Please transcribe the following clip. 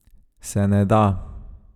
Se ne da!